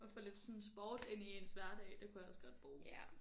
Og få lidt sådan sport ind i ens hverdag det kunne jeg også godt bruge